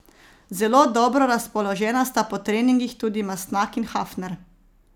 Zelo dobro razpoložena sta po treningih tudi Mastnak in Hafner.